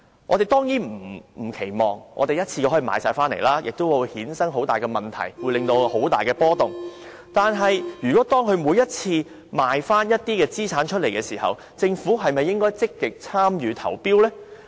我們當然不期望可以一次過全部回購，這樣亦會衍生很大問題，引起市場很大的波動；但是，如果當領展每次出售資產時，政府是否應積極參與投標呢？